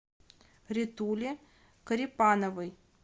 ритуле корепановой